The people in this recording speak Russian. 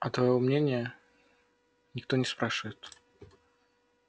а твоего мнения никто не спрашивает